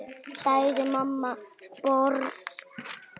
sagði mamma sposk.